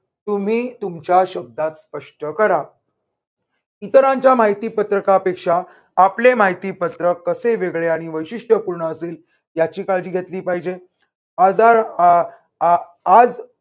तुम्ही तुमच्या शब्दात स्पष्ट करा. इतरांच्या माहितीपत्रकापेक्षा आपले माहितीपत्रक कसे वेगळे आणि वैशिष्ट्यपूर्ण असेल याची काळजी घेतली पाहिजे. आजार आह आज